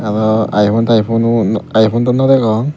aro iphone tiphuno iphone dow no degong.